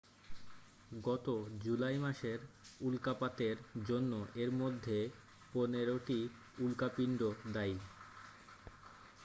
গত জুলাই মাসের উল্কাপাতের জন্য এর মধ্যে পনেরোটি উল্কাপিন্ড দায়ী